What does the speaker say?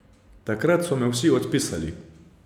Takrat so me vsi odpisali.